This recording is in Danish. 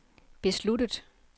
besluttet